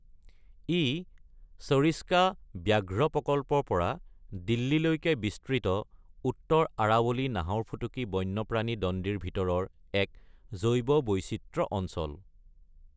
ই সৰিস্কা ব্যাঘ্ৰ প্ৰকল্পৰ পৰা দিল্লীলৈকে বিস্তৃত উত্তৰ আৰাৱলী নাহৰফুটুকী বন্যপ্ৰাণী দণ্ডিৰ ভিতৰৰ এক জৈৱ বৈচিত্ৰ্য অঞ্চল।